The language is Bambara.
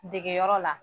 Degeyɔrɔ la